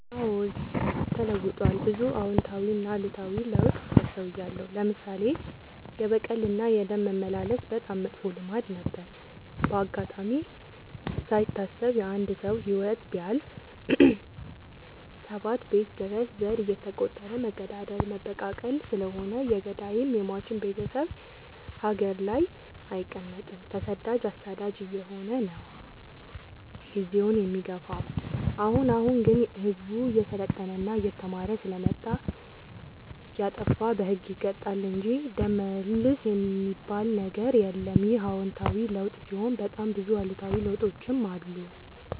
አዎድ ተለውጧል ብዙ አዎታዊ እና አሉታዊ ለውጥ አስታውያለሁ። ለምሳሌ፦ የበቀል እና የደም መመላለስ በጣም መጥፎ ልማድ ነበረ። በአጋጣሚ ካይታሰብ የአንድ ሰው ህይወት ቢያልፍ ሰባት ቤት ድረስ ዘር እየተ ቆጠረ መገዳደል መበቃቀል ስለሆነ የገዳይም የሞችም ቤቴሰብ ሀገር ላይ አይቀ መጥም ተሰዳጅ አሳዳጅ አየሆነ ነው። ጊዜውን የሚገፋው። አሁን አሁን ግን ህዝቡ እየሰለጠና እየተማረ ስለመጣ። የጣፋ በህግ ይቀጣል እንጂ ደም መልስ የሚበል ነገር የለም ይህ አዎታዊ ለውጥ ሲሆን በጣም ብዙ አሉታዊ ለውጦችም አሉ።